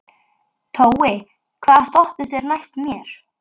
Tói, hvaða stoppistöð er næst mér?